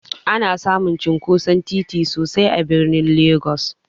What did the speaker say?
Ana samun cinkoson titi sosai a birnin Legss.